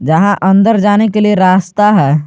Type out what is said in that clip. यहां अंदर जाने के लिए रास्ता है।